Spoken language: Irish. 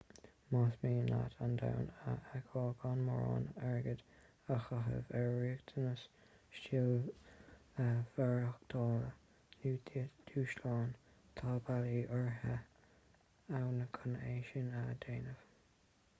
más mian leat an domhan a fheiceáil gan mórán airgid a chaitheamh ar riachtanas stíl mhaireachtála nó dúshlán tá bealaí áirithe ann chun é sin a dhéanamh